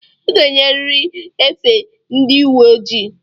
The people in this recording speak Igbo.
I ga-eyiriri efe ndị uwe ojii!